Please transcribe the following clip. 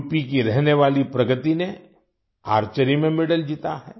UP की रहने वाली प्रगति ने आर्चरी आर्चरी में मेडल जीता है